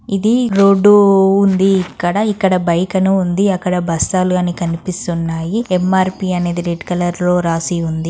ఇది రోడ్డు ఉంది. ఇక్కడ ఇక్కడ బైక్ అని ఉంది. అక్కడ బస్తాలు అన్ని కనిపిస్తున్నాయి. ఎం‌-ఆర్‌-పి అనేది రెడ్ కలర్ రాసి ఉంది.